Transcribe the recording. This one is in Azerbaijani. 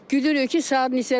Gülürük ki, saat neçədir?